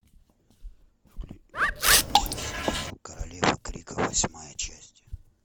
включи сериал королевы крика восьмая часть